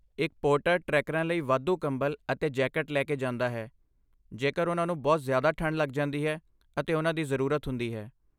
ਇੱਕ ਪੋਰਟਰ ਟ੍ਰੈਕਰਾਂ ਲਈ ਵਾਧੂ ਕੰਬਲ ਅਤੇ ਜੈਕਟ ਲੈ ਕੇ ਜਾਂਦਾ ਹੈ ਜੇਕਰ ਉਹਨਾਂ ਨੂੰ ਬਹੁਤ ਜ਼ਿਆਦਾ ਠੰਡ ਲੱਗ ਜਾਂਦੀ ਹੈ ਅਤੇ ਉਹਨਾਂ ਦੀ ਜ਼ਰੂਰਤ ਹੁੰਦੀ ਹੈ।